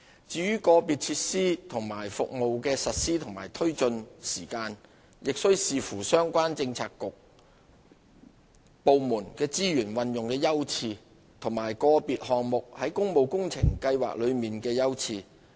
至於個別設施和服務的實施及推進時間，亦須視乎相關政策局/部門的資源運用優次，以及個別項目在工務工程計劃內的優次。